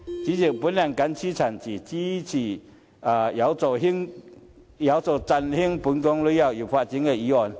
主席，我謹此陳辭，支持有助振興本港旅遊業發展的議案。